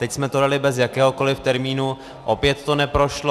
Teď jsme to dali bez jakéhokoliv termínu, opět to neprošlo.